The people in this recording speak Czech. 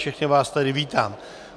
Všechny vás tady vítám.